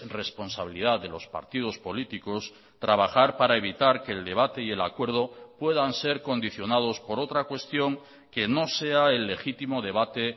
responsabilidad de los partidos políticos trabajar para evitar que el debate y el acuerdo puedan ser condicionados por otra cuestión que no sea el legítimo debate